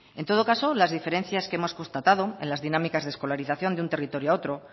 en todo caso las diferencias que hemos constatado en las dinámicas de escolarización de un territorio a otro